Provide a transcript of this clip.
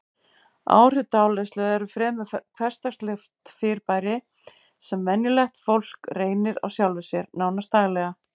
Áhrif dáleiðslu eru fremur hversdagslegt fyrirbæri sem venjulegt fólk reynir á sjálfu sér, nánast daglega.